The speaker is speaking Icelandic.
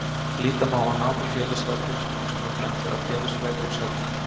Líta má á nám í félagsráðgjöf sem eins konar blöndu af félagsfræði og sálfræði.